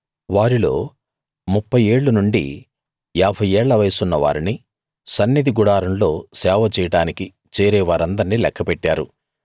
వారిల్లో ముప్ఫై ఏళ్ళు నుండి యాభై ఏళ్ల వయసున్న వారిని సన్నిధి గుడారంలో సేవ చేయడానికి చేరే వారందర్నీ లెక్క పెట్టారు